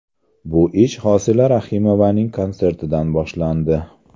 Bu ish Hosila Rahimovaning konsertidan boshlandi.